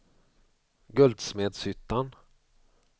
Guldsmedshyttan